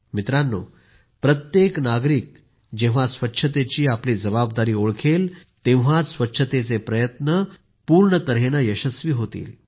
मित्रांनो प्रत्येक नागरिक जेव्हा स्वच्छतेची आपली जबाबदारी ओळखेल तेव्हाच स्वच्छतेचे प्रयत्न पूर्ण तर्हेनं यशस्वी होतात